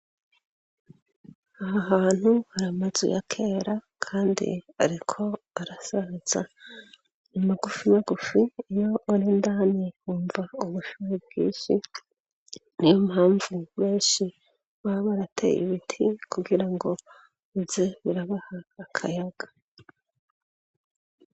aha hantu hari amazu y' akera kandi ariko arasaza nimagufi magufi iyo ar'indani umva ubushuhe bwinshi niyo mpamvu benshi baba barateye ibiti kugira ngo uze urabaha akayaga